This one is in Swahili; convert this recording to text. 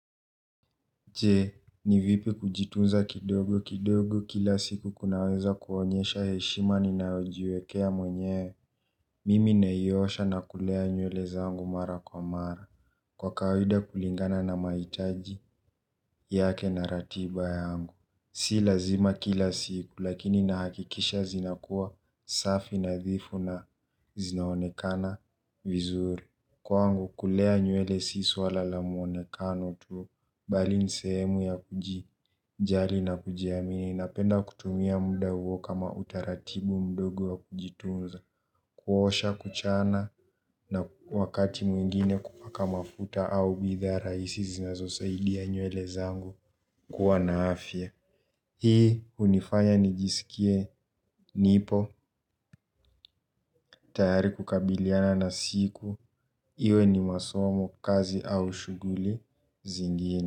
Je, ni vipi kujitunza kidogo kidogo kila siku kunaweza kuonyesha heshima ninayojiwekea mwenyewe. Mimi naiosha na kulea nywele zangu mara kwa mara, kwa kawaida kulingana na mahitaji yake na ratiba yangu. Si lazima kila siku, lakini nahakikisha zinakuwa safi nadhifu na zinaonekana vizuri. Kwangu kulea nywele si swala la muonekano tu bali ni sehemu ya kujijali na kujiamini, napenda kutumia muda huo kama utaratibu mdogo ya kujitunza kuosha, kuchana na wakati mwingine kupaka mafuta au bidhaa rahisi zinazosaidia nywele zangu kuwa na afya. Hii hunifanya nijisikie nipo tayari kukabiliana na siku iwe ni masomo kazi au shughuli zingine.